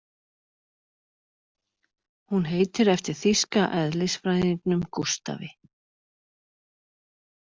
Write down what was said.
Hún heitir eftir þýska eðlisfræðingnum Gústafi.